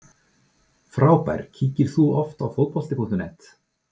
Frábær Kíkir þú oft á Fótbolti.net?